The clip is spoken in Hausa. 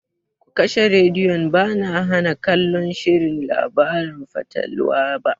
Ku kashe rediyon!ba na hana kallon shirin labaran fatalwa ba.